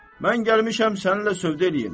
Mən gəlmişəm səninlə sövdə eləyim.